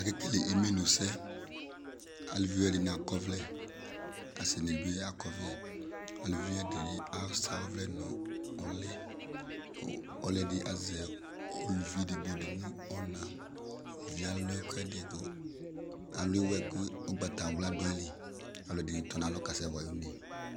Akele imenu sɛ, aluviwa ɛdini bi ak'ɔvlɛ, asini bi ak'ɔvlɛ, aluvi ɛdini asa ɔvlɛ n'uli kʋ ɔlɔdi azɛ uluvi edigbo di nʋ ɔna Uluvi yɛ alʋ ɛk'ɛdi kʋ, alu iwɛ kʋ ʋgbatawla dʋ ayili, alʋ ɛdini tɔ n'alɔ k'asɛ wa yi une